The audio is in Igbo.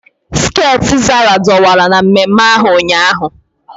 Skeeti Sarah dọwara na mmemme ahu ụnyaahụ.